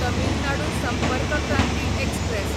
Tamil Nadu Sampark Kranti express